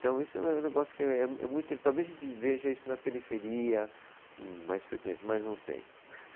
Isso é um, é um negócio que é muito, talvez a gente veja isso na periferia com mais frequência, mas não sei.